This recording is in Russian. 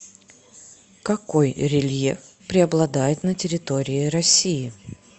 какой рельеф преобладает на территории россии